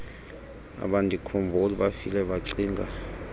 abandikhumbuli bafile bacinga